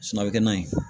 Suna a bɛ kɛ nan ye